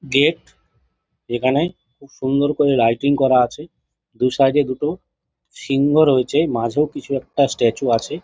Gate যেখানে খুব সুন্দর করে লাইটিং করা আছে দুই সাইড দুটো সিংহ রয়েছে মাঝেও কিছু একটা স্ট্যাচু আছে।